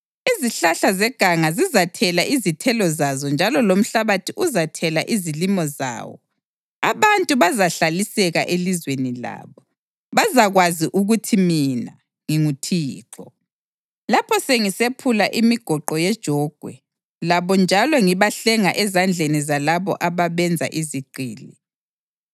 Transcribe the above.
Izihlahla zeganga zizathela izithelo zazo njalo lomhlabathi uzathela izilimo zawo; abantu bazahlaliseka elizweni labo. Bazakwazi ukuthi mina nginguThixo, lapho sengisephula imigoqo yejogwe labo njalo ngibahlenga ezandleni zalabo ababenza izigqili.